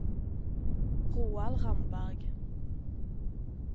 Roald Ramberg